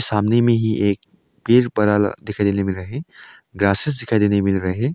सामने में ही एक पेड़ बड़ा वाला दिखाई देने मिल रहा हैं ग्रासेस दिखाई देने मिल रहा हैं।